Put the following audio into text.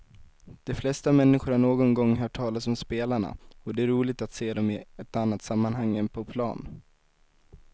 De flesta människor har någon gång hört talas om spelarna och det är roligt att se dem i ett annat sammanhang än på plan.